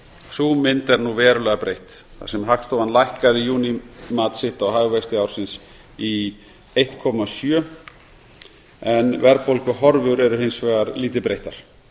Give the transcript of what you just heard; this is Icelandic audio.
sú mynd er nú verulega breytt þar sem hagstofan lækkaði í júní mat sitt á hagvexti ársins í eitt komma sjö prósent verðbólguhorfur eru hins vegar lítið breyttar